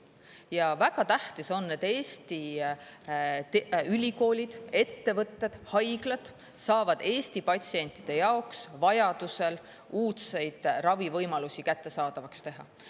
Ja väga tähtis on, et Eesti ülikoolid, ettevõtted, haiglad saavad Eesti patsientide jaoks vajadusel uudseid ravivõimalusi kättesaadavaks teha.